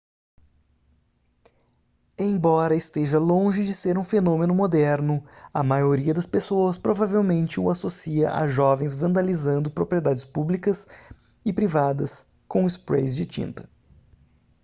embora esteja longe de ser um fenômeno moderno a maioria das pessoas provavelmente o associa a jovens vandalizando propriedades públicas e privadas com sprays de tinta